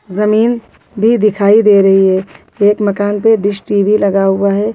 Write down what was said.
जमीन भी दिखाई दे रही है एक मकान पे डिश टी_वी लगा हुआ है।